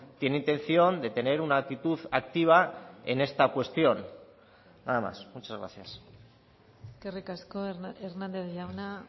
tiene intención de tener una actitud activa en esta cuestión nada más muchas gracias eskerrik asko hernández jauna